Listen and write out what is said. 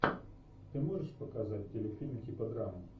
ты можешь показать телефильм типа драмы